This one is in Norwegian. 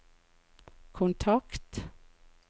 kontakt